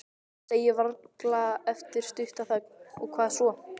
Segi varlega eftir stutta þögn: Og hvað svo?